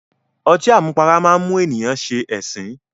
Ọtí àmupara máá ń mú ènìyàn ṣe ẹ̀sín